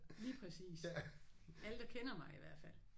Lige præcis. Alle der kender mig i hvert fald